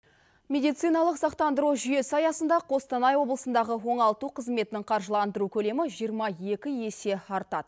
медициналық сақтандыру жүйесі аясында қостанай облысындағы оңалту қызметінің қаржыландыру көлемі жиырма екі есе артады